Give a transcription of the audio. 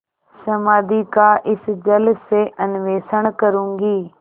समाधि का इस जल से अन्वेषण करूँगी